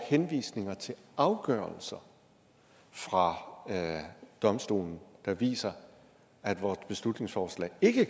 henvisninger til afgørelser fra domstolen der viser at vores beslutningsforslag ikke